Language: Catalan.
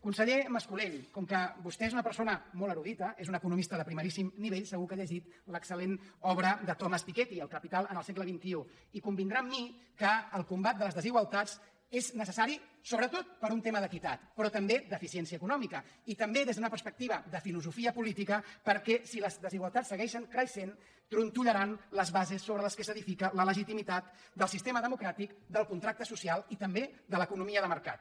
conseller mas·colell com que vostè és una persona molt erudita és un economista de primeríssim nivell segur que ha llegit l’excel·lent obra de thomas piketty el capital al segle xxi i convindrà amb mi que el combat de les desigualtats és necessari sobretot per un tema d’equitat però també d’eficiència econòmi·ca i també des d’una perspectiva de filosofia política perquè si les desigualtats segueixen creixent tronto·llaran les bases sobre les quals s’edifica la legitimitat del sistema democràtic del contracte social i també de l’economia de mercat